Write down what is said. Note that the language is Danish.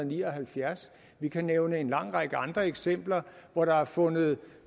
ni og halvfjerds vi kan nævne en lang række andre eksempler hvor der har fundet